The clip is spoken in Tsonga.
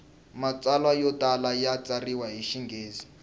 matsalwa yo tala ya tsariwa hi xinghezi